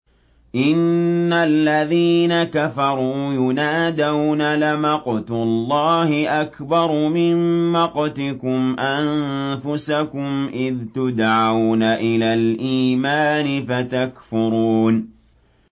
إِنَّ الَّذِينَ كَفَرُوا يُنَادَوْنَ لَمَقْتُ اللَّهِ أَكْبَرُ مِن مَّقْتِكُمْ أَنفُسَكُمْ إِذْ تُدْعَوْنَ إِلَى الْإِيمَانِ فَتَكْفُرُونَ